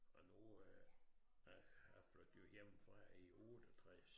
Og nu øh jeg jeg flyttede jo hjemmefra i 68